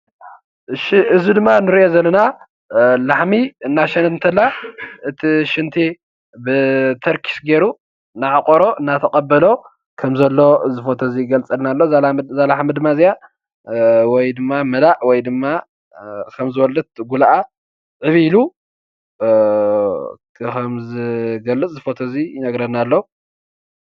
እዚ ንሪኦ ዘለና ድማ ላሕሚ እናሸነት እንከላ እቲ ሽንቲ ብተርኪስ ገይሩ እናዕቆሮ፣ እናተቐበሎ ከምዘሎ እዛ ላሕሚ ድማ መላእ ወይ ከምዝወለደት እቲ ጉልኣ ዕብይ ኢሉ ከምዝገልፅ እዚ ፎቶ ይነግረና ኣሎ፡፡